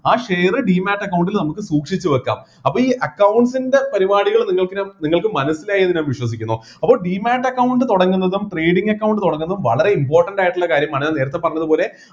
ആ share demate account ൽ നമക്ക് സൂക്ഷിച്ചുവെക്കാം അപ്പൊ ഈ accounts ൻ്റെ പരിപാടികള് നിങ്ങൾക്ക് ഞാൻ നിങ്ങൾക്ക് മനസ്സിലായി എന്നു ഞാൻ വിശ്വസിക്കുന്നു അപ്പോ demate account തുടങ്ങുന്നതും trading account തുടങ്ങുന്നതും വളരെ important ആയിട്ടുള്ള കാര്യമാണ് ഞാൻ നേരത്തെ പറഞ്ഞതുപോലെ